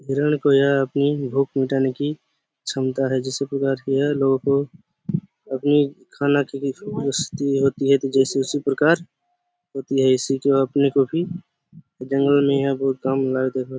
हिरण को यह अपनी भूख मिटाने कि क्षमता है जिसे प्रकार की यह लोगो अभी खाना की तंदरुस्ती होती है जैसे इसी प्रकार होती है इससे जो अपने को भी जंगल में